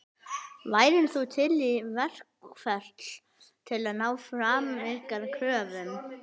Heimir: Værir þú til í verkfall til að ná fram ykkar kröfum?